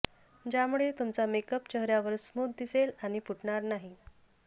ज्यामुळे तुमचा मेकअप चेहऱ्यावर स्मूथ दिसेल आणि फुटणार नाही